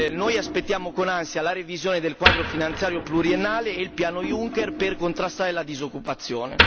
Noi aspettiamo con ansia la revisione del quadro finanziario pluriennale e il piano Juncker per contrastare la disoccupazione.